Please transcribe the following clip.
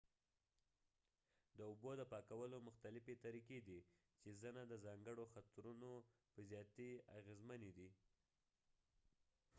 د اوبو د پاکولو مختلفې طریقې دي چې ځنه د ځانګړو خطرونو په زیاتې اغېزمنې دي